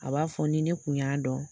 A b'a fɔ ni ne kun y'a dɔn